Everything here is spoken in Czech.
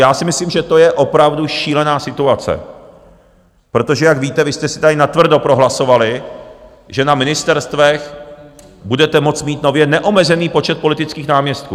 Já si myslím, že to je opravdu šílená situace, protože jak víte, vy jste si tady natvrdo prohlasovali, že na ministerstvech budete moci mít nově neomezený počet politických náměstků.